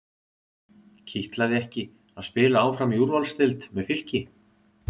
Kitlaði ekki að spila áfram í úrvalsdeild með Fylki?